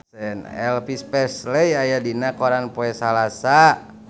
Elvis Presley aya dina koran poe Salasa